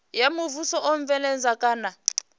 ya muvhuso u bveledza kana